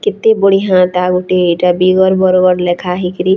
କେତେ ବଢିଆଁଟା ଗୁଟେ ଏଟା ବିଗର ବରଗଡ୍‌ ଲେଖା ହେଇକିରି ଆର୍‌--